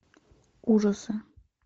ужасы